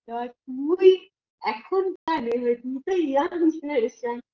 তা তুই এখনকার এ তুই তো young